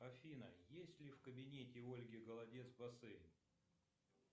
афина есть ли в кабинете ольги голодец бассейн